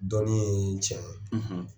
Dɔɔnin ye tiɲɛ